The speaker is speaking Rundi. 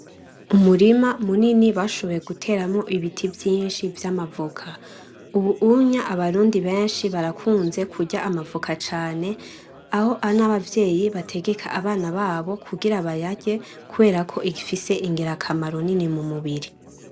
Umurima munini bashoboye guteramwo ibiti vyinshi vy'amavoka ubunye abarundi benshi barakunze kurya amavoka cane aho n'abavyeyi bategeka abana babo kugira bayarye kubera ko gifise ingirakamaro nini mu mubiri.